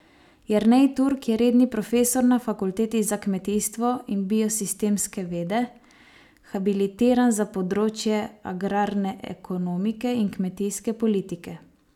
Jernej Turk je redni profesor na fakulteti za kmetijstvo in biosistemske vede, habilitiran za področje agrarne ekonomike in kmetijske politike.